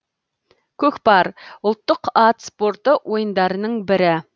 көкпар ұлттық ат спорты ойындарының бірі